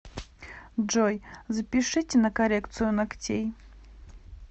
джой запишите на коррекцию ногтей